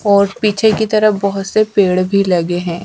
और पीछे की तरफ बहोत से पेड़ भी लगे हैं।